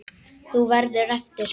Þú verður eftir.